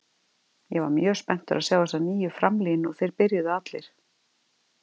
Ég var mjög spenntur að sjá þessa nýju framlínu og þeir byrjuðu allir.